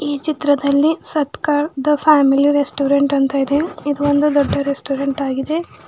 ಈ ಚಿತ್ರದಲ್ಲಿ Satkar the family restaurant ಅಂತ ಇದೆ ಇದು ಒಂದು ದೊಡ್ಡ ರೆಸ್ಟೊರೆಂಟ್ ಆಗಿದೆ.